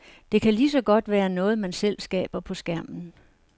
Det kan lige så godt være noget, man selv skaber på skærmen.